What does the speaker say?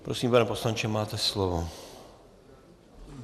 Prosím, pane poslanče, máte slovo.